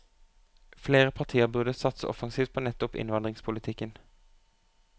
Flere partier burde satse offensivt på nettopp innvandringspolitikken.